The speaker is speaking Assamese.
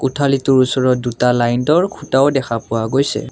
কোঠালিটোৰ ওচৰত দুটা লাইন্তৰ খুঁটাও দেখা পোৱা গৈছে।